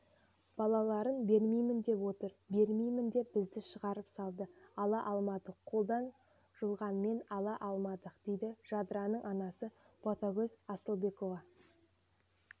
балаларын бермеймін деп отыр бермеймін деп бізді шығарып салды ала алмадық қолдан жұлғанымен ала алмадық дейді жадыраның анасы ботакөз асылбекова